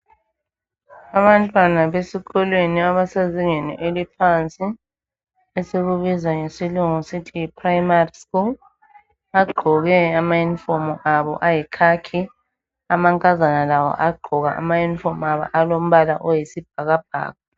Abantwana besikolweni abasezingeni eliphansi esikubiza ngesilungu sithi yiprimary school bagqoke bagqoke amauniform abo ayikhakhi amankazana labo bagqoka amauniform abo angumbala oyisibhakabhaka